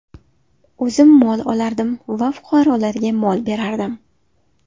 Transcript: O‘zim mol olardim va fuqarolarga mol berardim.